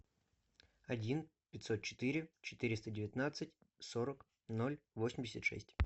один пятьсот четыре четыреста девятнадцать сорок ноль восемьдесят шесть